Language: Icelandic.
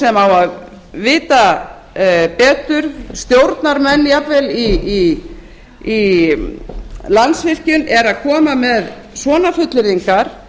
sem á að vita betur stjórnarmenn jafnvel í landsvirkjun eru að koma með svona fullyrðingar